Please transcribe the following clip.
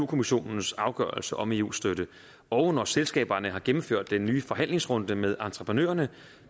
kommissionens afgørelse om eu støtte og når selskaberne har gennemført den nye forhandlingsrunde med entreprenørerne